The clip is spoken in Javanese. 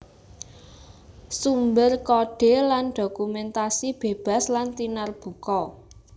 Sumber kodhe lan dokumentasi bebas lan tinarbuka